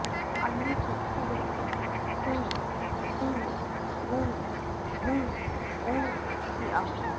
अन्ये तु उङ् कुङ् खुङ् गुङ् घुङ् ङुङ् इत्याहुः